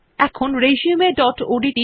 এবার resumeওডিটি